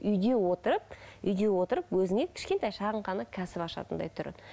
үйде отырып үйде отырып өзіңе кішкентай шағын ғана кәсіп ашатындай түрі